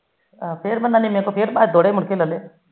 ਫਿਰ ਮੁੜ ਕੇ ਲੈਲੇ